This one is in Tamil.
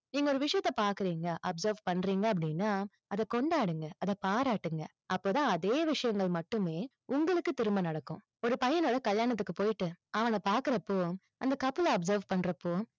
நீங்க ஒரு விஷயத்தை பாக்குறீங்க observe பண்றீங்க அப்படின்னா, அதை கொண்டாடுங்க. அதை பாராட்டுங்க. அப்போதான் அதே விஷயங்கள் மட்டுமே, உங்களுக்கு திரும்ப நடக்கும். ஒரு பையனோட கல்யாணத்துக்கு போயிட்டு, அவன பாக்குறப்போ, அந்த couple ல observe பண்றப்போ,